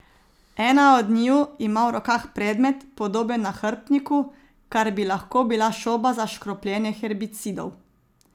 Ena od njiju ima v rokah predmet, podoben nahrbtniku, kar bi lahko bila šoba za škropljenje herbicidov.